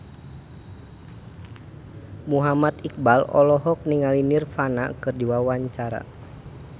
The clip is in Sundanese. Muhammad Iqbal olohok ningali Nirvana keur diwawancara